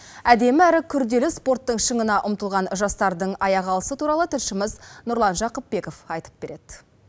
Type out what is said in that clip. әдемі әрі күрделі спорттың шыңына ұмтылған жастардың аяқ алысы туралы тілшіміз нұрлан жақыпбеков айтып береді